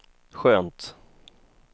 skönt